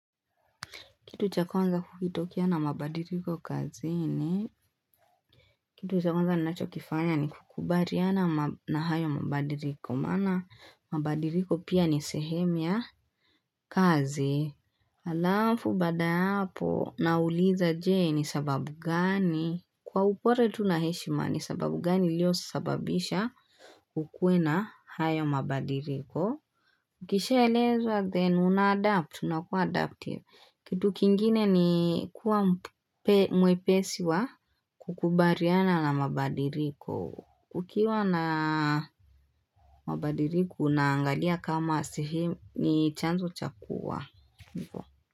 Kitu cha kwanza kukitokea na mabadiriko kazini kitu cha kwanza ninachokifanya ni kukubaliana na hayo mabadiriko maana mabadiriko pia nisehemu ya kazi. Halafu baada hapo nauliza jee ni sababu gani. Kwa upole tu naheshima ni sababu gani ilio sababisha kukuwe na hayo mabadiriko. Ukisha eleza then unaadapt unakuadaptive. Kitu kingine ni kuwa mwepesi wa kukubariana na mabadiriko. Kukiwa na mabadiriko na angalia kama sehemu ni chanzo chakuwa.